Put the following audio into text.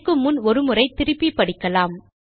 இயக்குமுன் ஒரு முறை திருப்பி படிக்கலாம்